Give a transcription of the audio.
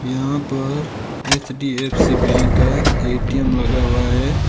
यहाँ पर HDFC bank का एटी_ए_म लगा हुआ है।